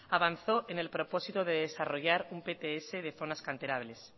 avanzó en el propósito de desarrollar un pts de zonas canterables